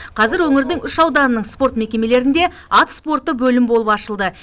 қазір өңірдің үш ауданының спорт мекемелерінде ат спорты бөлім болып ашылды